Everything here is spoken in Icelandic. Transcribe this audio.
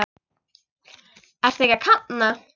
Ertu ekki að kafna?